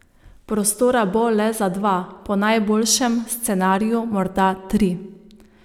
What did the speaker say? Prostora bo le za dva, po najboljšem scenariju morda tri.